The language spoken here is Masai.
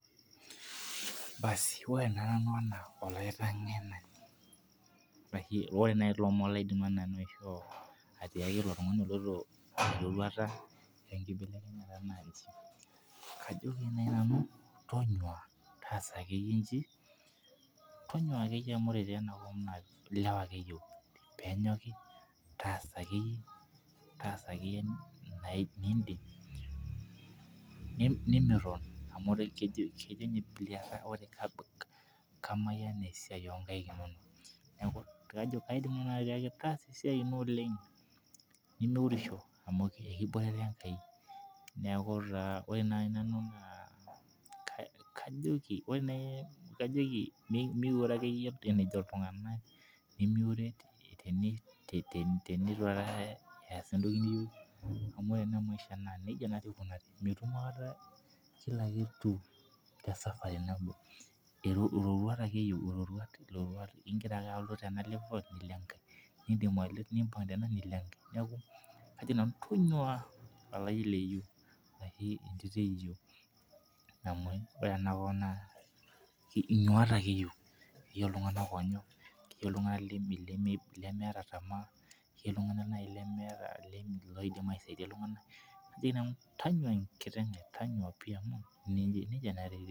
Asi ore naa ena naa ore naaji ilomon laidim nanu aishoo. atiaki ilo tungani oloito erorauta. enkibelekenyata naaji. ajoki naaji nanu tonyua taasa akeyieyie. tonyua akeyie amu ore ena kop naa ilewa ake eyieu pee entoki. taasa akeyie inidim, nimiton amu keji kamayian esiai oo nkaik inonok. neeku kaidim naaji atiaki taasa esiai ino oleng. nimiurisho amu ekiboitare enkai. neeku ore naaji nanu naa, kajoki miure akeyie enejo iltunganak. nimiuere tenitu eesa entoki niyieu. amu ore ena maisha nejia nadii ikunari. mitum aikata Kila kitu te safari nabo. ororuat ake iyieu igira ake alo tena level. nidim nimpang' tena nilo enkae. tonyiua amu ore ena kop naa inyuata ake eyieu. tonyua enkiteng' ai tonyua pi.